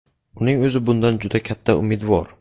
Uning o‘zi bundan juda katta umidvor.